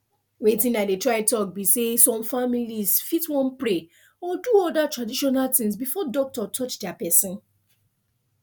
weytin i dey try talk be say some families fit wan pray or do their traditional thing before doctor touch their person